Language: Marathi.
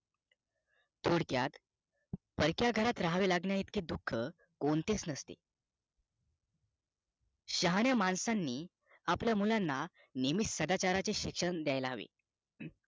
थोडक्यात परक्या घरात राहावे लागणे इतके दुःख कोणतेच नाही शहाण्या माणसांनी आपल्या मुलांना नेहमी सदाचाराचे शिक्षण द्यायला हवे